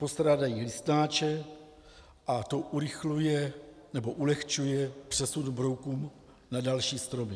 Postrádají listnáče a to urychluje nebo ulehčuje přesun brouků na další stromy.